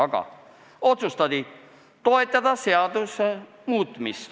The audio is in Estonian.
Aga otsustati toetada seaduse muutmist.